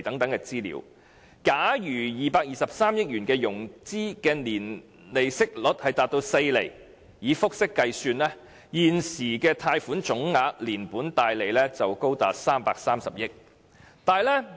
假如透過融資取得的223億元的年息率達4厘，以複式計算，現時的貸款總額連本帶利高達330億元。